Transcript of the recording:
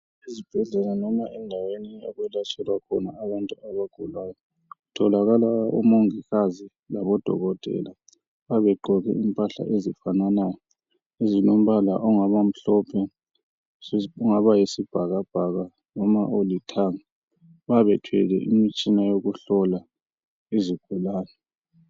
Ezibhedlela noma endaweni okwelatshelwa khona abantu abagulayo, kutholakala omongikazi labodokotela abayabe begqoke impahla ezifananayo ezilombala ongaba mhlophe ongaba yisibhakabhaka noma olithanga, bayabe bethwele imitshina yokuhlola izigulane.